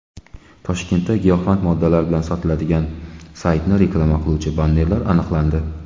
Toshkentda giyohvand moddalar sotiladigan saytni reklama qiluvchi bannerlar aniqlandi.